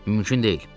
Mümkün deyil.